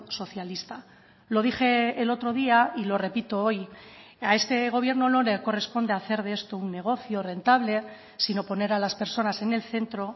socialista lo dije el otro día y lo repito hoy a este gobierno no le corresponde hacer de esto un negocio rentable sino poner a las personas en el centro